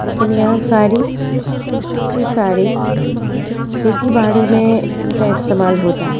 किनिया सारी की सारी खेती बाड़ी में इनका इस्तमाल होता है।